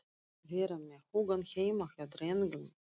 Vera með hugann heima hjá drengnum.